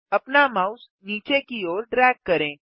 अपना माउस नीचे की ओर ड्रैग करें